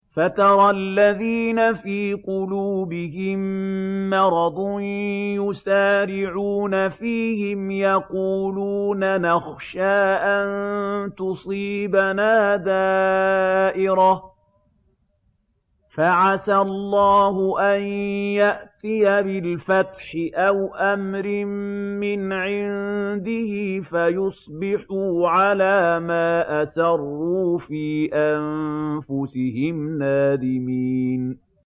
فَتَرَى الَّذِينَ فِي قُلُوبِهِم مَّرَضٌ يُسَارِعُونَ فِيهِمْ يَقُولُونَ نَخْشَىٰ أَن تُصِيبَنَا دَائِرَةٌ ۚ فَعَسَى اللَّهُ أَن يَأْتِيَ بِالْفَتْحِ أَوْ أَمْرٍ مِّنْ عِندِهِ فَيُصْبِحُوا عَلَىٰ مَا أَسَرُّوا فِي أَنفُسِهِمْ نَادِمِينَ